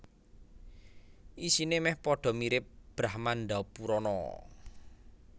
Isine meh padha mirip Brahmandapurana